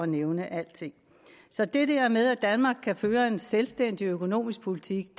nævne alting så det der med at danmark kan føre en selvstændig økonomisk politik